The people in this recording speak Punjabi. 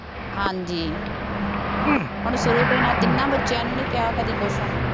ਹਾਂ ਜੀ, ਹੁਣ ਸ਼ੁਰੂ ਤੋਂ ਹੀ ਇਹਨਾ ਤਿੰਨਾ ਬੱਚਿਆਂ ਨੂੰ ਨਹੀਂ ਕਿਹਾ ਕਦੀ ਕੁੱਛ